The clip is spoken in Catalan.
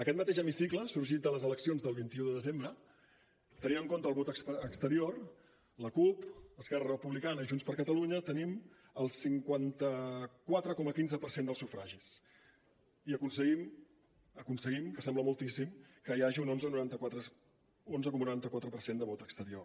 aquest mateix hemicicle sorgit de les eleccions del vint un de desembre tenint en compte el vot exterior la cup esquerra republicana i junts per catalunya tenim el cinquanta quatre coma quinze per cent del sufragis i aconseguim aconseguim que sembla moltíssim que hi hagi un onze coma noranta quatre per cent de vot exterior